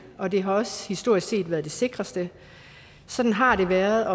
og det har også historisk set været det sikreste sådan har det været